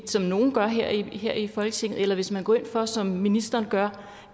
som nogle gør her i her i folketinget eller hvis man går ind for som ministeren gør